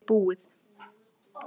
Þetta er búið.